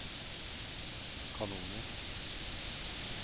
kanoner